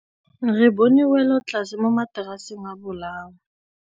Re bone wêlôtlasê mo mataraseng a bolaô.